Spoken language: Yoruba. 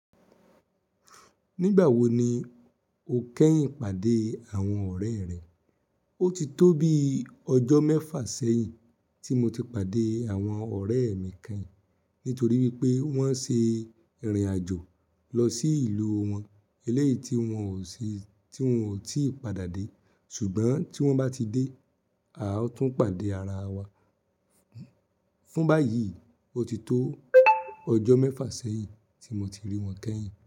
Nígbà wo ni o kẹ́yìn pàdé àwọn ọ̀rẹ́ rẹ? Ó ti tó bi ọjọ́ mẹ́fà sẹ́yìn tí mo ti pàdé àwọn ọ̀rẹ́ mi kẹ́yìn nítorí wípé wọ́n ṣe ìrìn àjò lọ sí ìlú wọn eléyìí tí wón ò tí padà dé. Ṣùgbọ́n tí wọ́n bá ti dé, a ó tún pàdé ara wa. Fún báyìí, ó ti tó ọjọ́ mẹ́fà sẹ́yìn tí mo ti rí wọn kẹ́yìn.